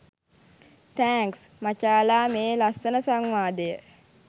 thanks මචාලා මේ ලස්සන සංවාදය